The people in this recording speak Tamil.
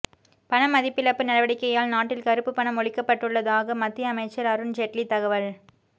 பணமதிப்பிழப்பு நடவடிக்கையால் நாட்டில் கறுப்பு பணம் ஒழிக்கப்பட்டுள்ளதாக மத்திய அமைச்சர் அருண் ஜெட்லி தகவல்